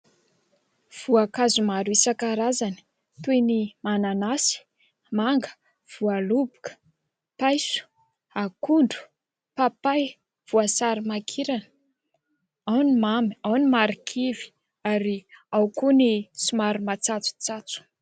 Voankazo maro isan-karazany toy ny : mananasy, manga, voaloboka, paiso, akondro, papay, voasary makirana, ao ny mamy, ao ny marikivy, ary ao koa ny somary matsatsotsatso.